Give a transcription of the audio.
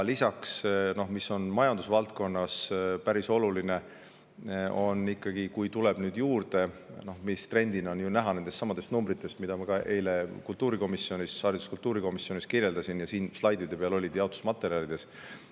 Lisaks, majandusvaldkonnas on päris oluline ikkagi see, mis trendina on ju näha nendestsamadest numbritest, mida ma ka eile kultuurikomisjonis kirjeldasin ja mis olid ka siin slaidide peal ja jaotusmaterjalides.